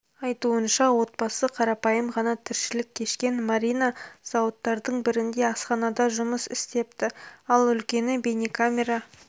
айтуынша отбасы қарапайым ғана тіршілік кешкен марина зауыттардың бірінде асханада жұмыс істепті ал үлкені бейнекамера